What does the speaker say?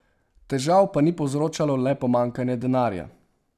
Težav pa ni povzročalo le pomanjkanje denarja.